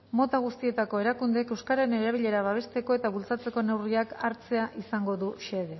mota guztietako erakundeek euskararen erabilera babesteko eta bultzatzeko neurriak hartzea izango du xede